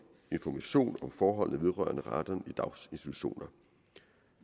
informationer om forhold vedrørende radon i daginstitutioner